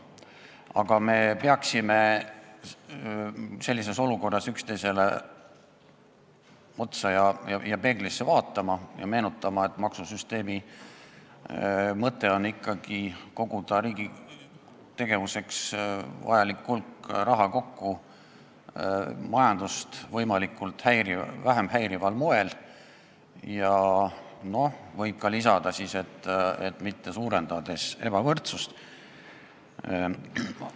Aga me peaksime sellises olukorras üksteisele otsa ja peeglisse vaatama ning meenutama, et maksusüsteemi mõte on ikkagi koguda kokku riigi tegevuseks vajalik hulk raha majandust võimalikult vähe häirival moel, ja võib ka lisada, et mitte suurendades ebavõrdsust.